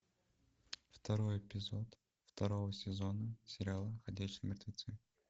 второй эпизод второго сезона сериала ходячие мертвецы